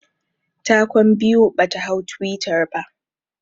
Ta kwan biyu bata hau twitter ba